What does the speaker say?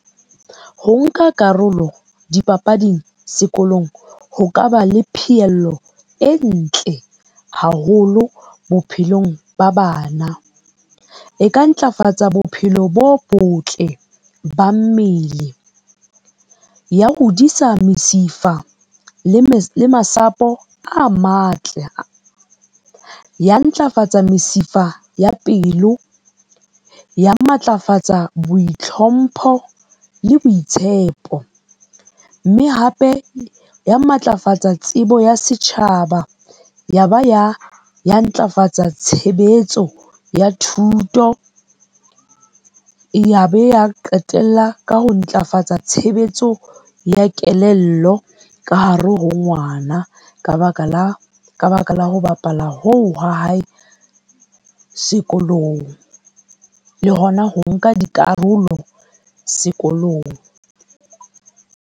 Ho nka karolo dipapading sekolong ho kaba le pheello e ntle haholo bophelong ba bana. E ka ntlafatsa bophelo bo botle ba mmele, ya hodisa mesifa le masapo a matle, ya ntlafatsa mesifa ya pelo, ya matlafatsa boitlhompho le boitshepo. Mme hape ya matlafatsa tsebo ya setjhaba, yaba ya ntlafatsa tshebetso ya thuto, yabe ya qetella ka ho ntlafatsa tshebetso ya kelello ka hare ho ngwana ka baka la ho bapala hoo ha hae sekolong, le hona ho nka dikarolo sekolong.